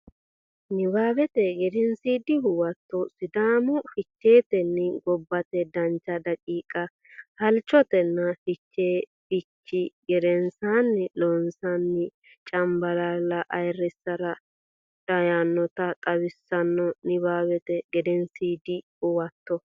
Nabbawate Gedensiidi Huwato Sidaamu Ficheetenni gobbate dancha daqiiqa halchannotanna Fichee fichii gedensaanni Loossinanni Cambalaalla ayirrisara daynota xawissanno Nabbawate Gedensiidi Huwato.